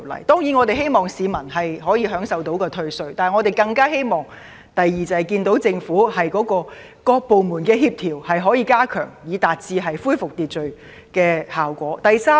當然，我們希望市民可以享受到退稅，但我們更希望看到政府能加強各部門的協調，以達致恢復秩序的效果。